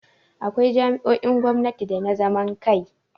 Akwai jami'o'in gwamnati da ta zaman kai.